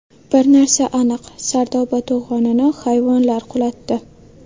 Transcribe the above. Bir narsa aniq: Sardoba to‘g‘onini hayvonlar qulatdi.